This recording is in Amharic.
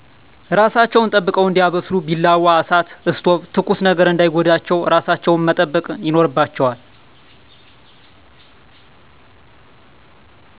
እራሣቸውን ጠብቀው እዲያበስሊ። ቢላዋ፣ እሣት(እስቶብ)ትኩስ ነገር እዳይጎዳቸው። እራሣቸውን መጠበቅ ይኖርባቸዋል።